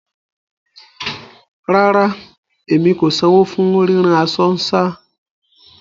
Rárá, emi kò sanwọ fún ríran aṣọ nṣa